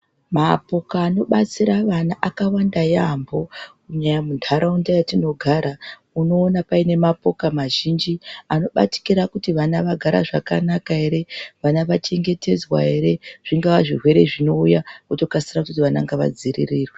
Mapuka anobatsira vana akawanda yaambo kunyanya mundaraunda yatinogara unoona paine mapuka mazhinji anobatikira kuti vana vagara zvakanaka ere vana vachengetedzwa ere zvingava zvirwere zvinouya votokasira kuti vana ngavadzivirirwe.